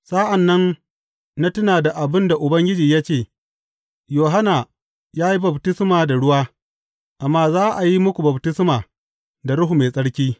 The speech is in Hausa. Sa’an nan na tuna da abin da Ubangiji ya ce, Yohanna ya yi baftisma da ruwa, amma za a yi muku baftisma da Ruhu Mai Tsarki.’